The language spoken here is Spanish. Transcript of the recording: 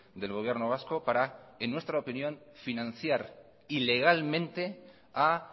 del gobierno vasco para en nuestra opinión financiar ilegalemente a